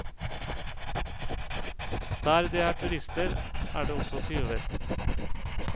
Der det er turister, er det også tyver.